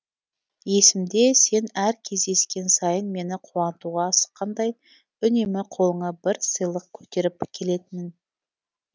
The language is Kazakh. есімде сен әр кездескен сайын мені қуантуға асыққандай үнемі қолыңа бір сыйлық көтеріп келетін ең